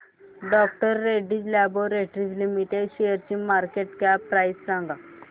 डॉ Reddy's laboratories limited शेअरची market cap price सांगा